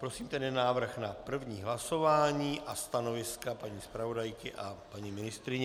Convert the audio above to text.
Prosím tedy návrh na první hlasování a stanoviska paní zpravodajky a paní ministryně.